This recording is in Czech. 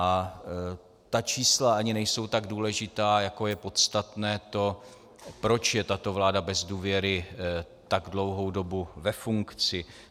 A ta čísla ani nejsou tak důležitá, jako je podstatné to, proč je tato vláda bez důvěry tak dlouhou dobu ve funkci.